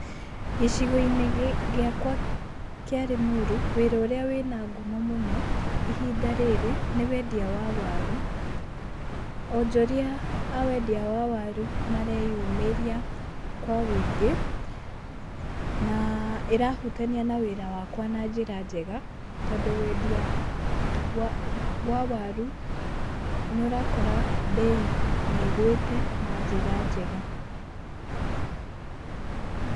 Gĩcigo-inĩ gĩakwa kĩa Limuru, wĩra ũrĩa wĩ na ngumo mũno, ihinda rĩrĩ, nĩ wendia wa waru. Onjoria a wendia wa waru mareyumĩria kwa ũingĩ, na ĩrahutania na wĩra wakwa na njĩra njega, tondũ wendia wa waru nĩũrakora bei nĩ ĩgũĩte, na njĩra njega.